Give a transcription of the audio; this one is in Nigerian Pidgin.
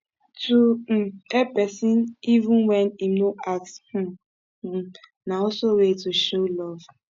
to um help persin even when im no ask um um na also way to show love